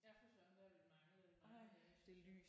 Ja det synes jeg også det har vi manglet i mange dage synes jeg